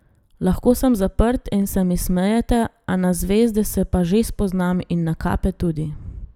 Lahko sem zaprt in se mi smejete, a na zvezde se pa že spoznam in na kape tudi.